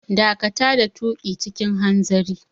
Dakata da tuƙi cikin hanzari!